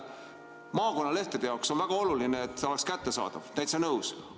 Maakonnalehtede jaoks on väga oluline, et need oleksid kättesaadavad, täitsa nõus.